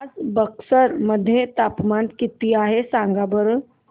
आज बक्सर मध्ये तापमान किती आहे सांगा बरं